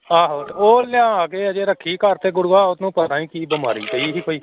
ਆਹੋ ਤੇ ਉਹ ਲਿਆ ਕੇ ਹਜੇ ਰੱਖੀ ਘਰ ਤੇ ਗੁਰੂਆ ਉਹਨੂੰ ਪਤਾ ਨੀ ਕੀ ਬਿਮਾਰੀ ਪਈ ਸੀ ਕੋਈ।